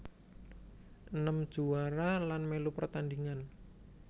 Enem juwara lan mèlu pertandhingan